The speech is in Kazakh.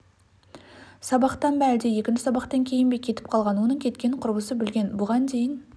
сабақтан ба әлде екінші сабақтан кейін бе кетіп қалған оның кеткенін құрбысы білген бұған дейін